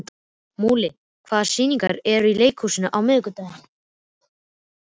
Múli, hvaða sýningar eru í leikhúsinu á miðvikudaginn?